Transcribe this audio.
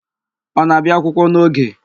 Ọ na-abịa akwụkwọ n'oge?